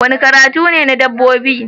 Wani karatu ne na dabbobi